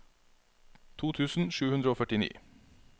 to tusen sju hundre og førtini